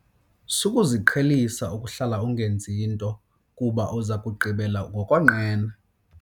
Sukuziqhelisa ukuhlala ungenzi nto kuba uza kugqibela ngokonqena.